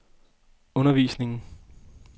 undervisningen